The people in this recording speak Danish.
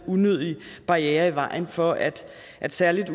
unødig barriere for at at særlig